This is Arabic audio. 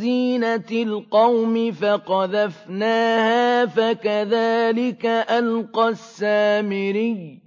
زِينَةِ الْقَوْمِ فَقَذَفْنَاهَا فَكَذَٰلِكَ أَلْقَى السَّامِرِيُّ